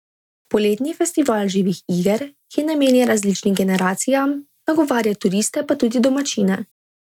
Poletni festival živih iger, ki je namenjen različnim generacijam, nagovarja turiste pa tudi domačine.